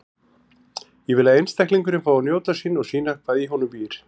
Ég vil að einstaklingurinn fái að njóta sín og sýna hvað í honum býr.